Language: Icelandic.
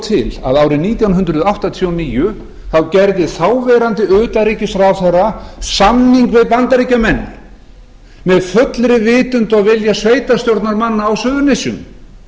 til að árið nítján hundruð áttatíu og níu gerði þáv utanríkisráðherra samning við bandaríkjamenn með fullri vitund og vilja sveitarstjórnarmanna á suðurnesjum